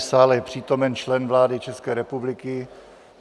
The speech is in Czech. V sále je přítomen člen vlády České republiky.